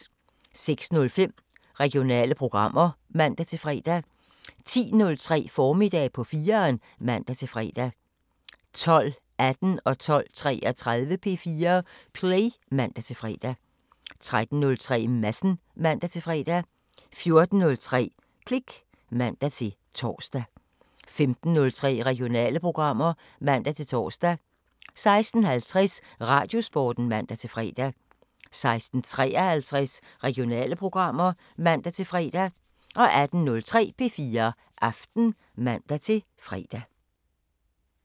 06:05: Regionale programmer (man-fre) 10:03: Formiddag på 4'eren (man-fre) 12:18: P4 Play (man-fre) 12:33: P4 Play (man-fre) 13:03: Madsen (man-fre) 14:03: Klik (man-tor) 15:03: Regionale programmer (man-tor) 16:50: Radiosporten (man-fre) 16:53: Regionale programmer (man-fre) 18:03: P4 Aften (man-fre)